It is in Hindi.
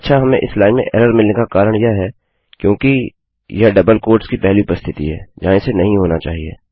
अच्छा हमें इस लाइन में एररमिलने का कारण यह है क्योंकि यह डबलउद्धरण चिन्हों की पहली उपस्थिति है जहाँ इसे नहीं होना चाहिए